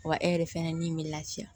Wa e yɛrɛ fɛnɛ ni bɛ lafiya